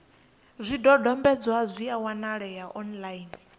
zwidodombedzwa zwi a wanalea online